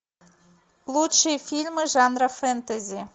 лучшие фильмы жанра фэнтези